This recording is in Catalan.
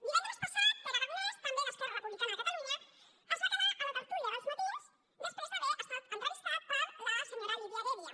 divendres passat pere aragonès també d’esquerra republicana de catalunya es va quedar a la tertúlia d’els matins després d’haver estat entrevistat per la senyora lídia heredia